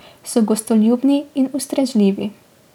So gostoljubni in ustrežljivi.